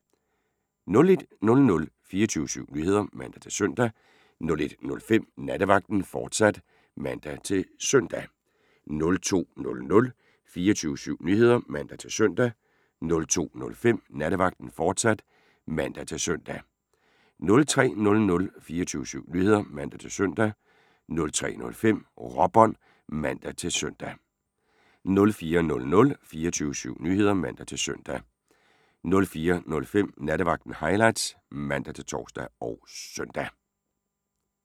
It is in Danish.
01:00: 24syv Nyheder (man-søn) 01:05: Nattevagten, fortsat (man-søn) 02:00: 24syv Nyheder (man-søn) 02:05: Nattevagten, fortsat (man-søn) 03:00: 24syv Nyheder (man-søn) 03:05: Råbånd (man-søn) 04:00: 24syv Nyheder (man-søn) 04:05: Nattevagten Highlights (man-tor og søn)